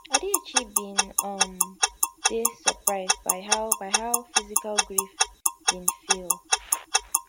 adichie bin um dey surprised by how by how physical grief bin feel